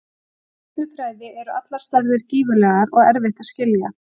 Í stjörnufræði eru allar stærðir gífurlegar og erfitt að skilja.